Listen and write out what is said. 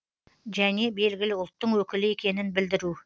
және белгілі ұлттың өкілі екенін білдіру